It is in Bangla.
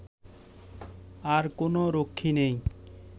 আর কোনও রক্ষী নেই